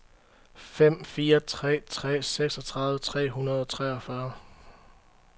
fem fire tre tre seksogtredive tre hundrede og treogfyrre